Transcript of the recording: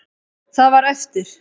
Það var eftir.